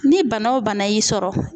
Ni bana o bana y'i sɔrɔ.